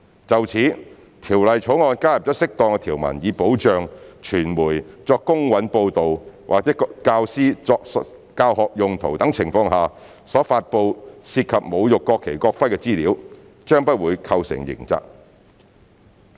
就此，《條例草案》加入了適當條文，以保障傳媒作公允報道或教師作教學用途等情況下所發布涉及侮辱國旗、國徽的資料，不會構成刑責。